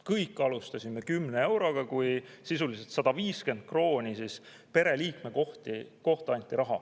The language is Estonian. Kõik alustasime kümne euroga, kui sisuliselt anti 150 krooni pereliikme kohta.